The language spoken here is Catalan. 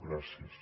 gràcies